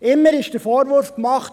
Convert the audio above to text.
Immer wurde der Vorwurf gemacht: